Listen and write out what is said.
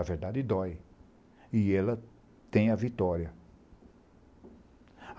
A verdade dói e ela tem a vitória.